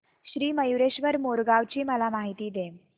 श्री मयूरेश्वर मोरगाव ची मला माहिती दे